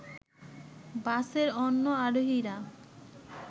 বাসের অন্য আরোহীরা